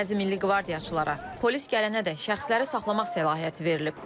Bəzi milli qvardiyaçılara polis gələnədək şəxsləri saxlamaq səlahiyyəti verilib.